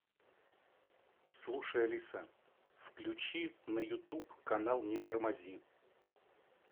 слушай алиса включи на ютуб канал не тормози